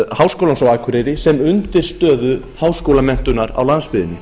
háskólans á akureyri sem undirstöðu háskólamenntunar á landsbyggðinni